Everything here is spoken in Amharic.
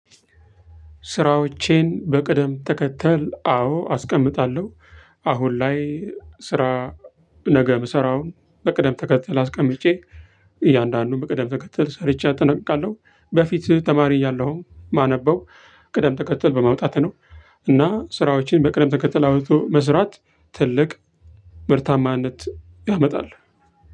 ስራዎቼን በቅደም ተከተል አዎ አስቀምጣለሁ። አሁን ላይ ስራ። ነገ የምሰራውን በቅደም ተከተል አስቀምጬ እያንዳንዱን በቅደም ተከተል ሰርቼ አጠናቅቃለሁ። በፊት ተማሪ እያለሁም ማነበው ቅደም ተከተል በማውጣት ነው። እና ስራዎችን በቅደም ተከተል አውጥቶ መስራት ትልቅ ምርታማነት ያመጣል።